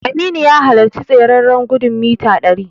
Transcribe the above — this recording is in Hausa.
Aminu ya halarci tsereren gudun mita ɗari.